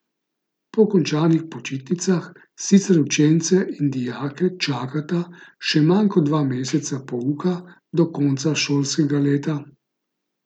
Po končanih počitnicah sicer učence in dijake čakata še manj kot dva meseca pouka do konca šolskega leta.